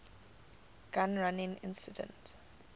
gun running incident